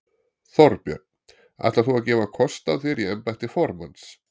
Þorbjörn: Ætlar þú að gefa kost á þér í embætti formanns?